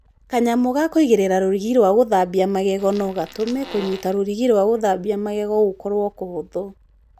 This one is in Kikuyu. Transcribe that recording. Kanyamũ ka kũigĩrĩra rũrigi rwa gũthambia magego no gatũme kũnyita rũrigi rwa gũthambia magego gũkorũo kũhũthũ.